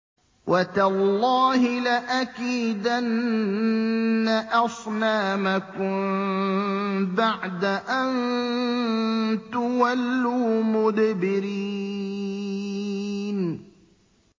وَتَاللَّهِ لَأَكِيدَنَّ أَصْنَامَكُم بَعْدَ أَن تُوَلُّوا مُدْبِرِينَ